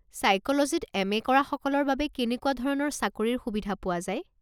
ছাইক'লজীত MA. কৰাসকলৰ বাবে কেনেকুৱা ধৰণৰ চাকৰিৰ সুবিধা পোৱা যায়?